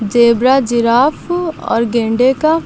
zebra giraffe और गेंडे का--